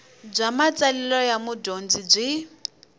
bya matsalelo ya mudyondzi byi